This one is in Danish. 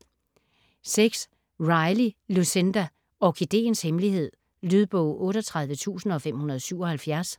Riley, Lucinda: Orkideens hemmelighed Lydbog 38577